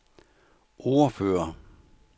ordfører